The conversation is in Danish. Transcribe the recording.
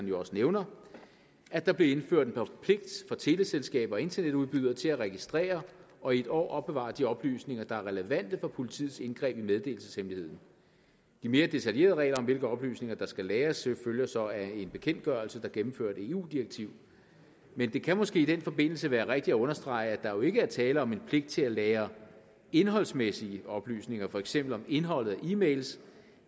jo også nævner at der blev indført en pligt for teleselskaber og internetudbydere til at registrere og i en år opbevare de oplysninger der er relevante for politiets indgreb i meddelelseshemmeligheden de mere detaljerede regler om hvilke oplysninger der skal lagres følger så af en bekendtgørelse der gennemførte et eu direktiv men det kan måske i den forbindelse være rigtigt at understrege at der jo ikke er tale om en pligt til at lagre indholdsmæssige oplysninger for eksempel om indholdet af e mails